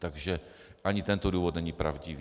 Takže ani tento důvod není pravdivý.